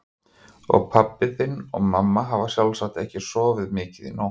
Og pabbi þinn og mamma hafa sjálfsagt ekki sofið mikið í nótt.